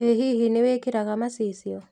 Ĩ hihi nĩwĩkĩraga macicio?